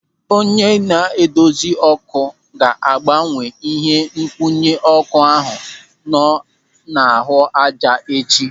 Onye na-edozi ọ́kụ́ ga-agbanwe ihe nkwụnye ọ́kụ́ ahụ nọ n'ahụ ájá echi.